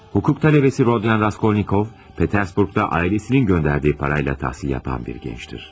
Hukuk tələbəsi Rodyon Raskolnikov Peterburqda ailəsinin göndərdiyi parayla təhsil yapan bir gəncdir.